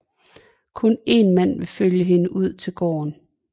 Kun en mand vil følge hende ud til gården